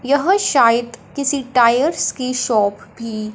यह शायद किसी टायर्स की शॉप भी--